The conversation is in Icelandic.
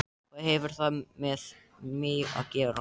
Hvað hefur það með mig að gera?